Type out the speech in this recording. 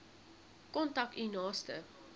kontak u naaste